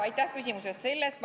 Aitäh küsimuse eest!